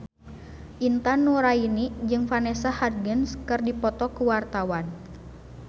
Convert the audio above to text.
Intan Nuraini jeung Vanessa Hudgens keur dipoto ku wartawan